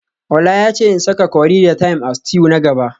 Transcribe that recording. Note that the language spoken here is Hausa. Ola yace in saka curry da thyme a stew na gaba